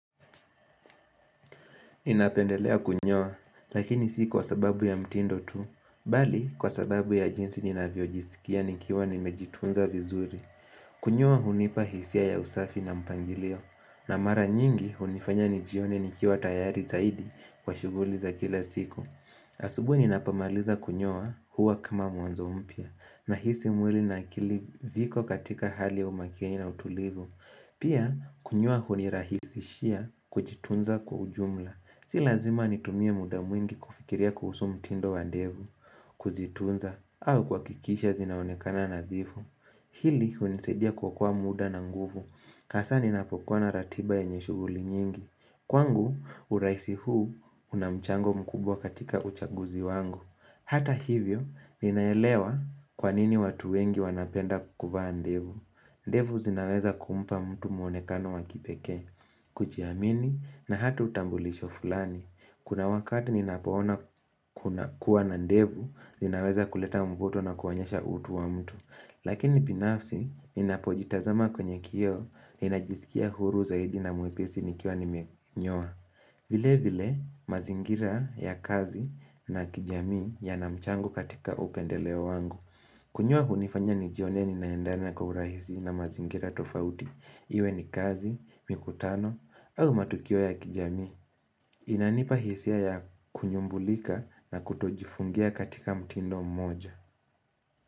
Ninapendelea kunyoa, lakini si kwa sababu ya mtindo tu, bali kwa sababu ya jinsi ninavyojisikia nikiwa nimejitunza vizuri. Kunyoa hunipa hisia ya usafi na mpangilio, na mara nyingi hunifanya nijione nikiwa tayari zaidi kwa shughuli za kila siku. Asubuhi ninapomaliza kunyoa huwa kama mwanzo mpya, nahisi mwili na viko katika hali umakini na utulivu. Pia, kunyoa hunirahisishia kujitunza kwa ujumla. Si lazima nitumie muda mwingi kufikiria kuhusu mtindo wa ndevu, kuzitunza, au kuhakikisha zinaonekana nadhifu. Hili hunisaidia kuokoa muda na nguvu, hasa ninapokuwa na ratiba yenye shughuli nyingi. Kwangu, urahisi huu una mchango mkubwa katika uchaguzi wangu. Hata hivyo, ninaelewa kwa nini watu wengi wanapenda kuvaa ndevu. Ndevu zinaweza kumpa mtu mwonekano wa kipekee, kujiamini na hata utambulisho fulani. Kuna wakati ninapoona kuwa na ndevu, zinaweza kuleta mvuto na kuonyesha utu wa mtu. Lakini binafsi, ninapojitazama kwenye kioo, ninajisikia huru zaidi na mwepesi nikiwa nimenyoa. Vile vile, mazingira ya kazi na kijamii yana mchango katika upendeleo wangu. Kunyoa hunifanya nijione ni naendana kwa urahisi na mazingira tofauti, iwe ni kazi, mikutano, au matukio ya kijamii. Inanipa hisia ya kunyumbulika na kutojifungia katika mtindo mmoja.